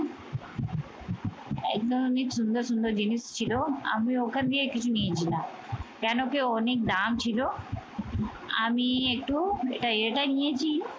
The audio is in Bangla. একদম আমি সুন্দর সুন্দর জিনিস ছিল। আমি ওখান দিয়ে কিছু নিয়েছি না। কেন কি অনেক দাম ছিল। আমি একটু এটা এটা নিয়েছি